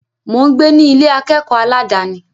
Mò ń gbé ní Ilé akẹ́kọ̀ọ́ aládàni.